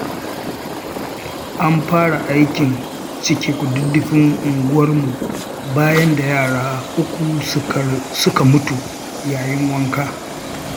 An fara aikin cike kududdufin unguwarmu bayan da yara uku suka mutu yayin wanka.